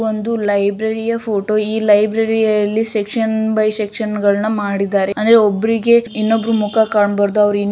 ಒಂದು ಲೈಬ್ರರಿ ಯ ಫೋಟೋ ಈ ಲೈಬ್ರರಿಯಲ್ಲಿ ಸೆಕ್ಷನ್ ಬೈ ಸೆಕ್ಷನ್ ಗಳನ್ನ ಮಾಡಿದ್ದಾರೆ ಅಂದ್ರೆ ಒಬ್ಬರಿಗೆ ಇನ್ನೊಬ್ಬರು ಮುಖ ಕಾನ್ಬಾರ್ದು ಅವರು --